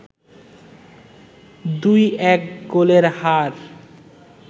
২-১ গোলের হার